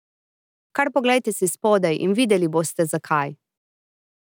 Kar poglejte si spodaj, in videli boste, zakaj.